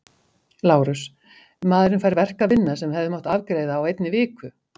LÁRUS: Maðurinn fær verk að vinna sem hefði mátt afgreiða á einni viku.